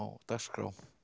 dagskrá í